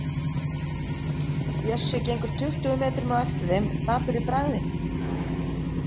Bjössi gengur tuttugu metrum á eftir þeim, dapur í bragði.